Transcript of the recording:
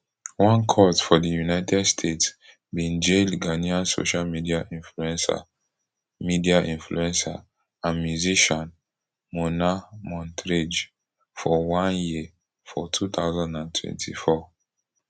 one court for di united states bin jail ghanaian social media influencer media influencer and musician mona montrage for one year for two thousand and twenty-four